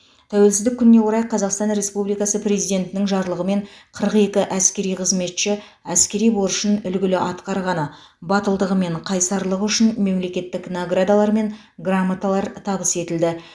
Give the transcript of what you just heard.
тәуелсіздік күніне орай қазақстан республикасы президентінің жарлығымен қырық екі әскери қызметші әскери борышын үлгілі атқарғаны батылдығы мен қайсарлығы үшін мемлекеттік наградалар мен грамоталар табыс етілді